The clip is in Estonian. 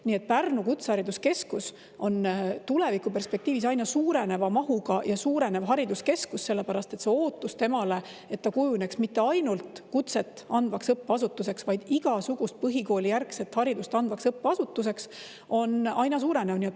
Nii et Pärnumaa Kutsehariduskeskus on tulevikuperspektiivis aina suureneva mahuga ja hariduskeskus, sellepärast et see ootus, et ta kujuneks mitte ainult kutset andvaks õppeasutuseks, vaid igasugust põhikoolijärgset haridust andvaks õppeasutuseks, on aina suurenenud.